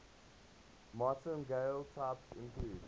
martingale types include